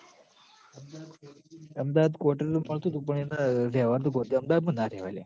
Ahmedabad quarters મળતું તું પણ એન રેવાનું તું ગૉધીનગર, અમદાવાદમાં ના રેવાય લ્યા